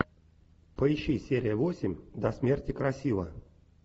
поищи серия восемь до смерти красива